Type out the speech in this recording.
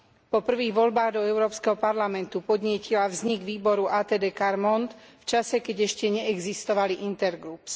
Po prvých voľbách do Európskeho parlamentu podnietila vznik výboru ATD Quart Monde v čase, keď ešte neexistovali intergroups.